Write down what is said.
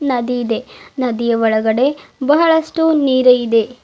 ನದಿ ಇದೆ ನದಿಯ ಒಳಗಡೆ ಬಹಳಷ್ಟು ನೀರಿದೆ.